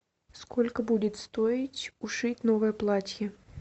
сколько будет стоить ушить новое платье